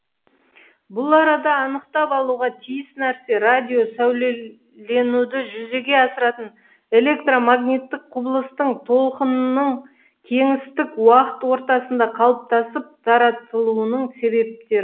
бұл арада анықтап алуға тиіс нәрсе радио сәулеленуді жүзеге асыратын электр магниттік құбылыстың толқынның кеңістік уақыт ортасында қалыптасып таратылуының себептері